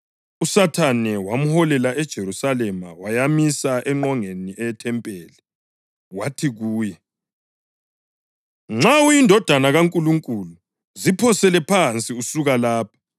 USathane wamholela eJerusalema wayamisa engqongeni yethempeli. Wathi kuye “Nxa uyiNdodana kaNkulunkulu, ziphosele phansi usuka lapha.